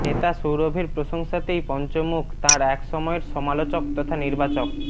নেতা সৌরভের প্রশংসাতেই পঞ্চমুখ তাঁর এক সময়ের সমালোচক তথা নির্বাচক